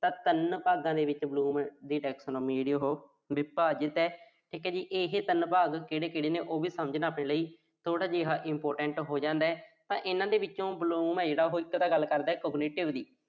ਤਾਂ ਤਿੰਨ ਭਾਗਾਂ ਦੇ ਵਿੱਚ ਜਿਹੜੇ ਨੇ ਉਹੋ ਵਿਭਾਜਿਤ ਆ। ਠੀਕ ਆ ਜੀ। ਇਹੇ ਤਿੰਨ ਭਾਗ ਕਿਹੜੇ-ਕਿਹੜੇ ਨੇ, ਇਹ ਸਮਝਣਾ ਵੀ ਥੋੜ੍ਹਾ important ਹੋ ਜਾਂਦਾ। ਤਾਂ ਇਨ੍ਹਾਂ ਦੇ ਵਿੱਚੋਂ Bloom ਆ ਜਿਹੜਾ, ਉਹ ਇੱਕ ਤਾਂ ਗੱਲ ਕਰਦਾ